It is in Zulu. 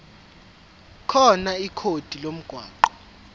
khona ikhodi lomgwaqo